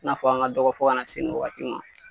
N'a fɔ an ka dɔgɔ fɔ ka na se nin waati ma